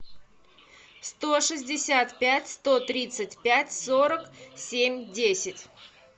сто шестьдесят пять сто тридцать пять сорок семь десять